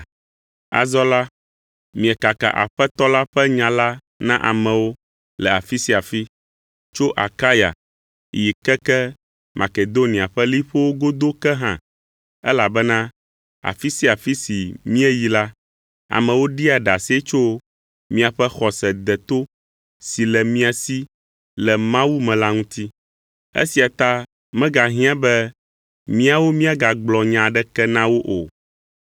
Azɔ la, miekaka Aƒetɔ la ƒe nya la na amewo le afi sia afi, tso Akaya yi keke Makedonia ƒe liƒowo godo ke hã, elabena afi sia afi si míeyi la, amewo ɖia ɖase tso miaƒe xɔse deto si le mia si le Mawu me la ŋuti. Esia ta megahiã be míawo míagagblɔ nya aɖeke na wo o,